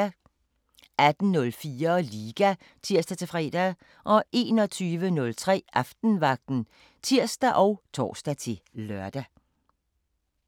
18:04: Liga (tir-fre) 21:03: Aftenvagten (tir og tor-lør)